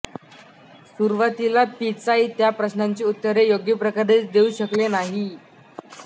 सुरुवातीला पिचाई त्या प्रश्नांची उत्तरे योग्य प्रकारे देऊ शकले नाहीत